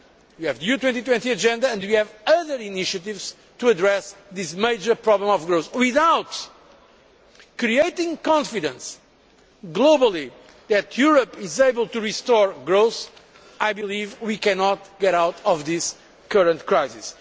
We have the EU 2020 agenda and we have other initiatives to address this major problem of growth. Without creating confidence globally that Europe is able to restore growth, I believe we cannot get out of this current crisis.